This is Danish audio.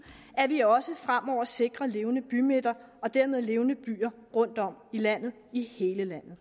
at vi også fremover sikrer levende bymidter og dermed levende byer rundtom i landet i hele landet